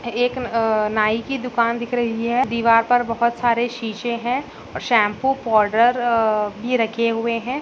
एक नाई की दुकान दिख रही है दीवार पर बहुत सारे शीशे है। शैंपू और पाउडर भी रखे हुए हैं।